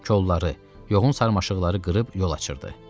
Kolları, yoğun sarmaşıqları qırıb yol açırdı.